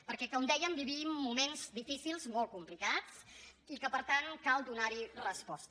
perquè com dèiem vivim moments difícils molt complicats i que per tant cal donar hi resposta